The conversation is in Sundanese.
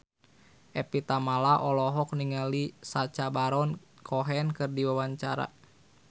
Evie Tamala olohok ningali Sacha Baron Cohen keur diwawancara